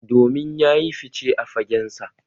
Domin ya yi fice a fagensa